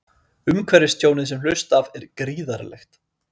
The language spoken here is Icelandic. Umhverfistjónið sem hlaust af er gríðarlegt